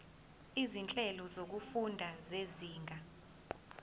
izinhlelo zokufunda zezinga